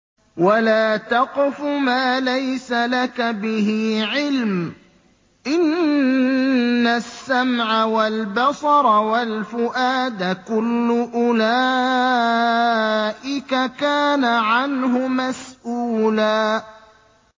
وَلَا تَقْفُ مَا لَيْسَ لَكَ بِهِ عِلْمٌ ۚ إِنَّ السَّمْعَ وَالْبَصَرَ وَالْفُؤَادَ كُلُّ أُولَٰئِكَ كَانَ عَنْهُ مَسْئُولًا